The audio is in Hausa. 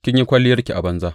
Kin yi kwalliyarki a banza.